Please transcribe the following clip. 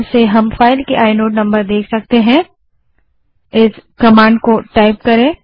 हम फाइल के inode number देखने के लिए एलएस स्पेस i कमांड का उपयोग कर सकते हैं